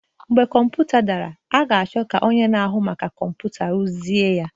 Mgbe kọmputa dara, a ga-achọ ka onye na-ahụ maka kọmputa rụzie ya